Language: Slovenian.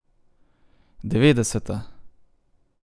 Devetdeseta!